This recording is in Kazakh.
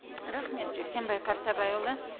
рахмет жексенбай қартабайұлы